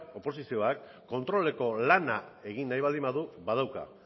oposizioak kontroleko lana egin nahi baldin badu badauka